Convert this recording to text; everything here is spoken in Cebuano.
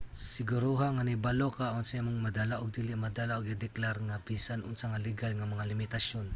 siguruha nga nahibalo ka unsa imong madala ug dili madala ug ideklara ang bisan unsa sa legal nga mga limitasyon